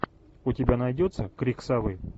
у тебя найдется крик совы